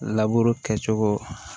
Laburu kɛ cogo